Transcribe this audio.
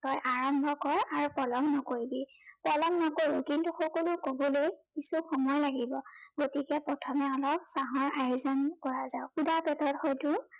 তই আৰম্ভ কৰ আৰু পলম নকৰিবি। পলম নকৰো, কিন্তু সকলো কবলৈ কিছু সময় লাগিব, গতিকে প্ৰথমে অলপ চাহৰ আয়োজন কৰা যাওঁক। কিবা কথাত হয়তো